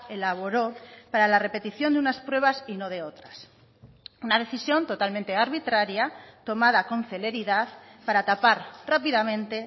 elaboró para la repetición de unas pruebas y no de otras una decisión totalmente arbitraria tomada con celeridad para tapar rápidamente